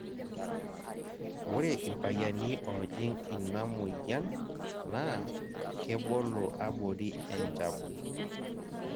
ore irpayiani oojing' ina moyian naa kebolo abori enchabu.